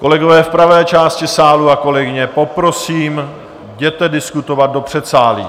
Kolegové v pravé části sálu a kolegyně, poprosím, jděte diskutovat do předsálí.